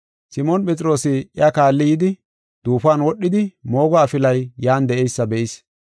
Simoon Phexroosi iya kaalli yidi, duufuwan wodhidi moogo afilay yan de7eysa be7is.